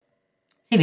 TV 2